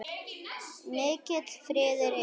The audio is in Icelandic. Mikill friður yfir honum.